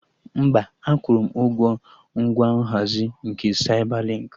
Mba, akwụrụ m ụgwọ ngwa nhazi nke Saibalinkị